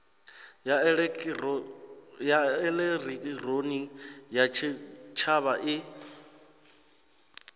ya elekihironiki ya tshitshavha i